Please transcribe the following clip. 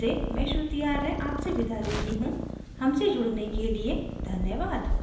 I I T Bombay से मैं श्रुति आर्य अब आपसे विदा लेती हूँ हमसे जुड़ने के लिए धन्यवाद